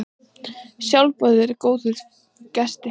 Sjálfboðið er góðum gesti.